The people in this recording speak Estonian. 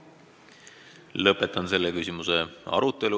Lõpetan selle küsimuse arutelu.